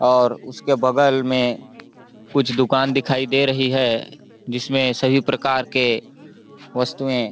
और उसके बगल में कुछ दुकान दिखाई दे रही है जिसमे सभी प्रकार के वस्तुएं--